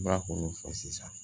Ba kɔni fɔ sisan